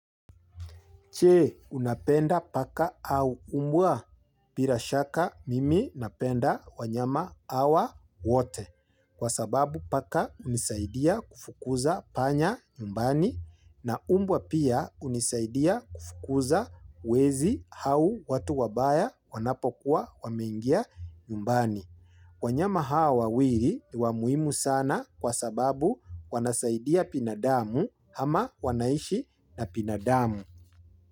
Je? Unapenda paka au umbwa? Bila shaka mimi napenda wanyama hawa wote. Kwa sababu paka unisaidia kufukuza panya nyumbani na umbwa pia unisaidia kufukuza wezi au watu wabaya wanapokuwa wameingia nyumbani. Wanyama hawa wawili, ni wa muhimu sana kwa sababu wanasaidia binadamu ama wanaishi na binadamu.